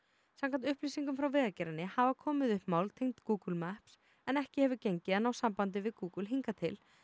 samkvæmt upplýsingum frá Vegagerðinni hafa komið upp mál tengd Google Maps en ekki hefur gengið að ná sambandi við Google hingað til